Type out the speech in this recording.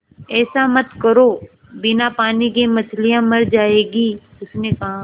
ऐसा मत करो बिना पानी के मछलियाँ मर जाएँगी उसने कहा